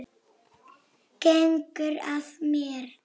Gengur að mér.